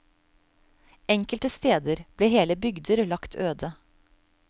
Enkelte steder ble hele bygder lagt øde.